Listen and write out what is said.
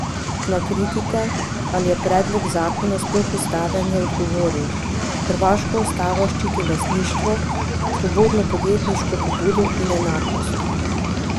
Na kritike, ali je predlog zakona sploh ustaven, je odgovoril: 'Hrvaška ustava ščiti lastništvo, svobodno podjetniško pobudo in enakost.